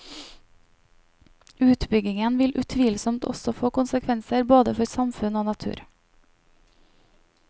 Utbyggingen vil utvilsomt også få konsekvenser både for samfunn og natur.